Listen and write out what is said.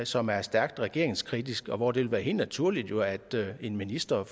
som er stærkt regeringskritisk og hvor det ville være helt naturligt jo at en minister